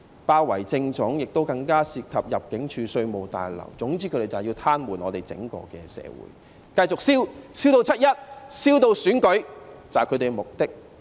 包圍政總的行動，更蔓延至入境事務處、稅務大樓，總之他們便是要癱瘓整個社會，繼續燒，燒至"七一"、燒至選舉，這便是他們的目的。